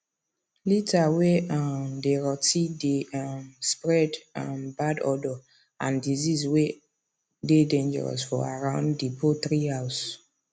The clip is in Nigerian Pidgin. litter way um dey rot ten dey um spread um bad odour and disease way dey dangerous for around the poultry house